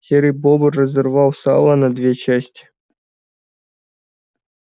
серый бобр разорвал сало на две части